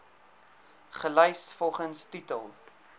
gelys volgens titel